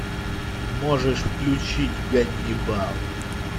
можешь включить ганнибал